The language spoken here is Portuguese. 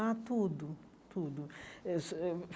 Ah, tudo, tudo. eh su eh